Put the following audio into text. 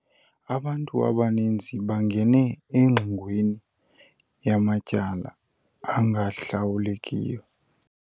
Abantu abaninzi bangene engxingweni yamatyala angahlawulekiyo.